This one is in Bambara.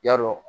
Ya dɔ